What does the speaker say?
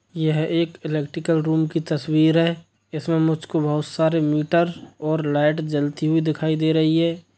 यह एक electrical room की तस्वीर है इसमें मुझको बहुत सारे मीटर और लाईट जलती हुई दिखाई दे रही है।